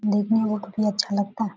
देखने मे बहुत भी अच्छा लगता है।